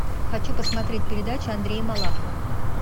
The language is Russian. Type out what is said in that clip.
хочу посмотреть передачу андрея малахова